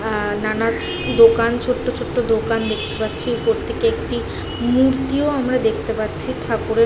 আঁ নানা দোকান ছোট্টছোট্ট দোকান দেখতে পাচ্ছি। উপর থেকে একটি মূর্তিও দেখতে পাচ্ছি ঠাকুরের --